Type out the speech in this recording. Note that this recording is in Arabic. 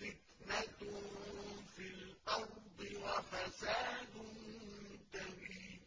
فِتْنَةٌ فِي الْأَرْضِ وَفَسَادٌ كَبِيرٌ